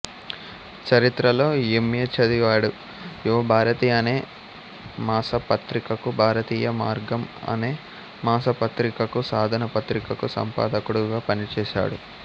చరిత్రలో M A చదివాడు యువభారతి అనే మాసపత్రికకు భారతీయ మార్గం అనే మాసపత్రికకు సాధన పత్రికకు సంపాదకుడుగా పనిచేశాడు